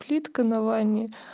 плитка на ванне